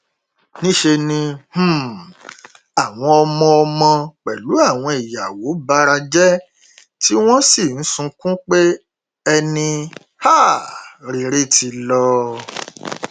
níṣẹ ni um àwọn ọmọ ọmọ pẹlú àwọn ìyàwó bara jẹ tí wọn sì ń sunkún pé ẹni um rere ti lọ